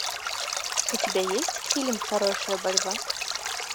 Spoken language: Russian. у тебя есть фильм хорошая борьба